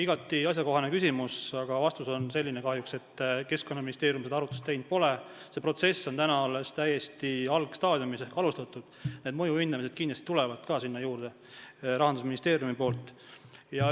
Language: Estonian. Igati asjakohane küsimus, aga vastus on kahjuks selline, et Keskkonnaministeerium seda arvutust teinud pole, see protsess on alles täiesti algstaadiumis ehk alles alustatud, mõjude hindamised tulevad kindlasti sinna Rahandusministeeriumi poolt juurde.